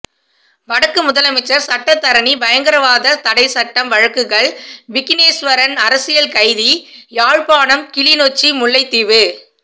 வடக்கு முதலமைச்சர் சட்டத்தரணி பயங்கரவாத தடைச்சட்டம் வழக்குகள் விக்கினேஸ்வரன் அரசியல் கைதி யாழ்ப்பாணம் கிளிநொச்சி முல்லைத்தீவு